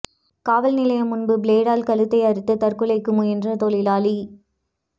காவல் நிலையம் முன்பு பிளேடால் கழுத்தை அறுத்து தற்கொலைக்கு முயன்ற தொழிலாளி